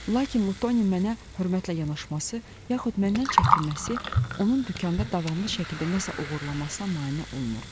Lakin Lutoniya mənə hörmətlə yanaşması yaxud məndən çəkinməsi onun dükanda davamlı şəkildə nəsə oğurlamasına mane olmurdu.